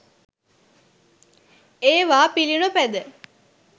ඒවා පිළිනොපැද